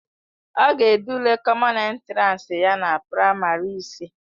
Ọ ga-ede ule kọmọn entiransi ya na praịmarị ise.